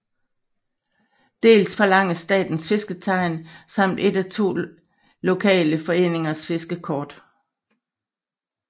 Dels forlanges Statens Fisketegn samt et af to lokale foreningers fiskekort